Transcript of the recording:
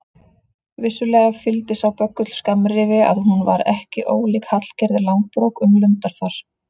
Vissulega fylgdi sá böggull skammrifi að hún var ekki ólík Hallgerði Langbrók um lundarfar.